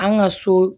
An ka so